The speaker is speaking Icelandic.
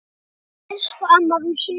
Elsku amma rúsína.